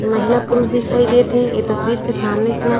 महिला पुरुष दिखाई देत हे ए तस्वीर के सामने इतना--